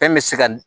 Fɛn bɛ se ka